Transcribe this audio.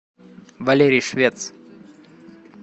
валерий швец